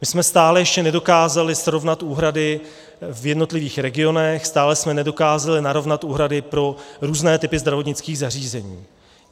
My jsme stále ještě nedokázali srovnat úhrady v jednotlivých regionech, stále jsme nedokázali narovnat úhrady pro různé typy zdravotnických zařízení.